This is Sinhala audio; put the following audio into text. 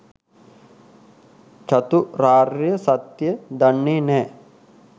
චතුරාර්ය සත්‍යය දන්නේ නෑ.